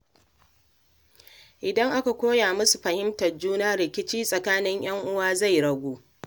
Idan aka koya musu fahimtar juna, rikici tsakanin ‘yan’uwa zai ragu.